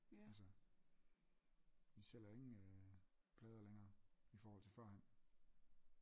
Altså de sælger jo ingen øh plader længere i forhold til førhen